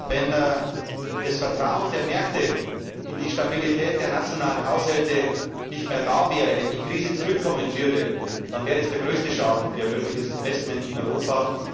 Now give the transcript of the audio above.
Wenn das Vertrauen der Märkte in die Stabilität der nationalen Haushalte nicht mehr da wäre, wenn die Krise zurückkommen würde, dann wäre das der größte Schaden für mögliche Investitionen in Europa.